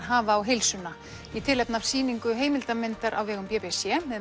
hafa á heilsuna í tilfefni af sýningu heimildarmyndar á vegum b b c með